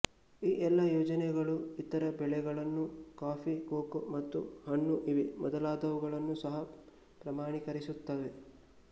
ಈ ಎಲ್ಲಾ ಯೋಜನೆಗಳು ಇತರ ಬೆಳೆಗಳನ್ನೂ ಕಾಫಿ ಕೋಕೋ ಮತ್ತು ಹಣ್ಣು ಇವೇ ಮೊದಲಾದವನ್ನು ಸಹ ಪ್ರಮಾಣೀಕರಿಸುತ್ತವೆ